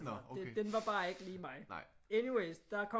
Den var bare ikke lige mig anyways der kom